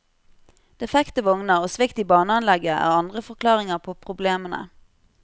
Defekte vogner og svikt i baneanlegget er andre forklaringer på problemene.